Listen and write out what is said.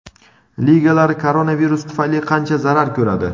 Ligalar koronavirus tufayli qancha zarar ko‘radi?.